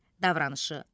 Davranışı.